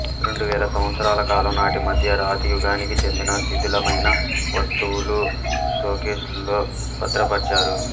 రెండు వేల సంవత్సరాల కాలం నాటి మధ్య రాతి యుగానికి చెందిన శిథిలమైన వస్తువులు షోకేసుల్లో భద్రపర్చారు